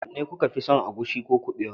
wanne kuka fi son agushi ko kuɓewa